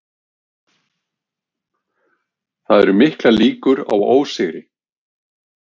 Það eru miklar líkur á ósigri